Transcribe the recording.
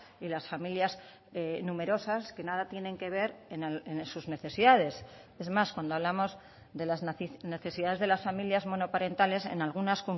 y las familias numerosas que nada tienen que ver en sus necesidades es más cuando hablamos de las necesidades de las familias monoparentales en algunas